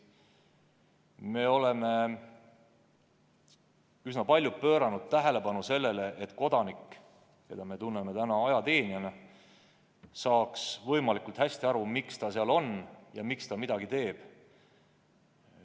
Me oleme üsna palju pööranud tähelepanu sellele, et ajateenijast kodanik saaks võimalikult hästi aru, miks ta teenistuses on ja miks ta midagi teeb.